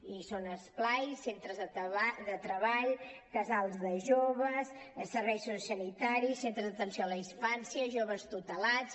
i són esplais centres de treball casals de joves serveis sociosanitaris centres d’atenció a la infància joves tutelats